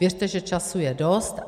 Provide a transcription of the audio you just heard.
Věřte, že času je dost.